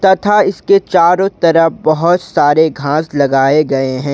तथा इसके चारों तरफ बहोत सारे घास लगाए गए हैं।